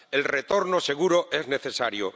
El retorno seguro es necesario.